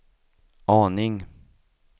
aning